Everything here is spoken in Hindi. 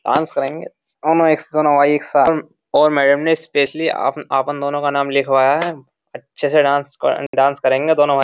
डांस करेंगे दोनों एक्स दोनों वाई एक साथ और मैडम ने स्पेशली अपन दोनों का नाम लिखवाया है अच्छे से डांस डांस करेंगे दोनों में --